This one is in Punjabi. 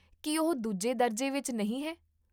ਕੀ ਉਹ ਦੂਜੇ ਦਰਜੇ ਵਿੱਚ ਨਹੀਂ ਹੈ?